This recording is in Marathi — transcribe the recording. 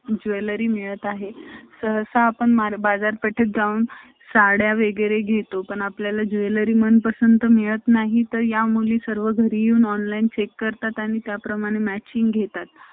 jewelry मिळत आहे सहसा आपण बाजारपेठेत जाऊन साड्या वगैरे घेतो. पण आपल्याला jewelry मनपसंत मिळत नाही तर या मुली सर्व घरी येऊन Online चेक करतात आणि त्या प्रमाणे matching घेतात